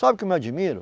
Sabe o que eu me admiro?